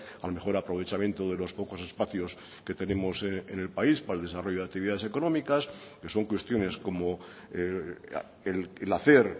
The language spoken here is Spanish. al mejor aprovechamiento de los pocos espacios que tenemos en el país para el desarrollo de actividades económicas que son cuestiones como el hacer